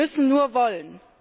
Wir müssen nur wollen!